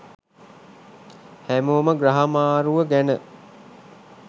හැමෝම ග්‍රහ මාරුව ගැන